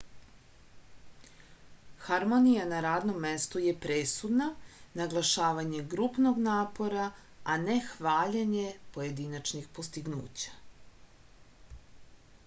harmonija na radnom mestu je presudna naglašavanje grupnog napora a ne hvaljenje pojedinačnih postignuća